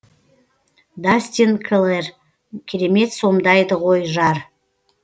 дастин клэр керемет сомдайды ғой жар